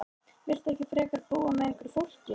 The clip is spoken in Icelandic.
Viltu ekki frekar búa með einhverju fólki?